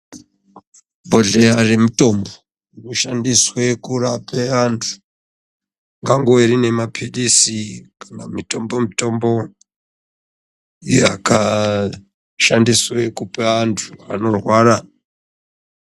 Zubhodhleya zvemitombo inoshandiswe kurape antu kwangori nemapilisi kana mutombo mutombo yakashandiswe kupa antu anorwara.